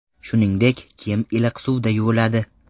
Shuningdek, kiyim iliq suvda yuviladi.